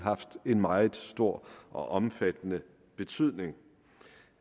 haft en meget stor og omfattende betydning